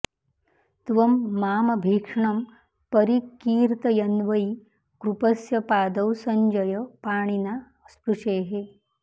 त्वं मामभीक्ष्णं परिकीर्तयन्वै कृपस्य पादौ सञ्जय पाणिना स्पृशेः